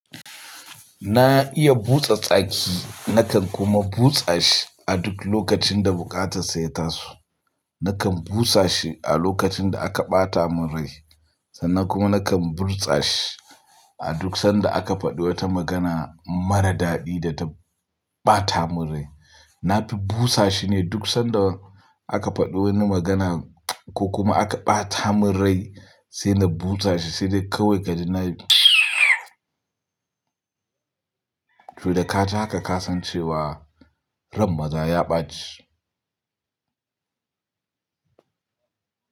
Na iya busa tsaki, nakan kuma busa shi a duk lokacin da buƙatar sa ya taso. Nakan busa shi a lokacin da aka ɓata mun rai sannan kuma nakan burtsa shi a duk sanda aka faɗo wata magana mara daɗi da ta ɓata mun rai. Na fi busa shi ne duk sanda aka faɗi wani magana ko kuma aka ɓata mun rai sai na busa shi sai dai kawai gani na yi mtsss to da ka ji haka ka san cewa ran maza ya ɓaci.